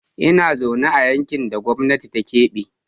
Ina zaune a yankin da gwamnati ta kebe.